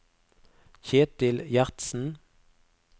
Kjetil Gjertsen